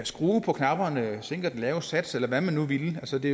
skrue på knapperne sænke den lave sats eller hvad man nu ville altså det